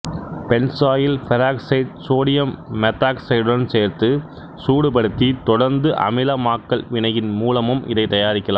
benzoyl பெராக்சைடை sodium மெத்தாக்சைடுடன் சேர்த்து சூடுபடுத்தி தொடர்ந்து அமிலமாக்கல் வினையின் மூலமும் இதைத் தயாரிக்கலாம்